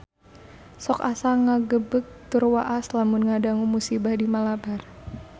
Sok asa ngagebeg tur waas lamun ngadangu musibah di Malabar